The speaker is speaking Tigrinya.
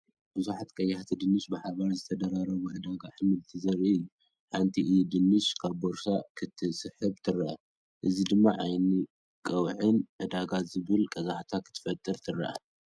ብዙሓት ቀያሕቲ ድንሽ ብሓባር ዝተደራረቡ ዕዳጋ ኣሕምልቲ ዘርኢ እዩ። ሓንቲ ኢድ ድንሽ ካብ ቦርሳ ክትስሕብ ትርአ፡ እዚ ድማ ዓይን ቀውዒን ዕዳጋን ዝብል ቀዛሕታ ክትፈጥር ትርአ።